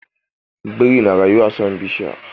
Biri na rayuwa a saman bishiya.